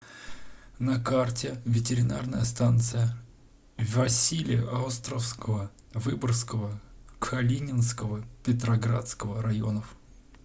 на карте ветеринарная станция василеостровского выборгского калининского петроградского районов